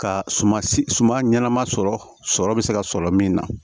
Ka suma suma ɲɛnama sɔrɔ bɛ se ka sɔrɔ min na